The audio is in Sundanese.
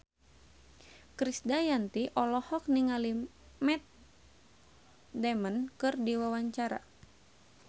Krisdayanti olohok ningali Matt Damon keur diwawancara